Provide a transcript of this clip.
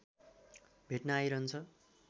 भेट्न आइरहन्छ